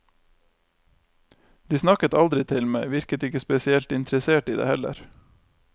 De snakket aldri til meg, virket ikke spesielt interessert i det heller.